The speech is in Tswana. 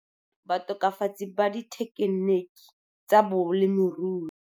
Batokafatsi ba Dithekeniki tsa Bolemiorui.